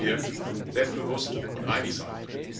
Auch dort müssen wir selbstbewusst und einig sein.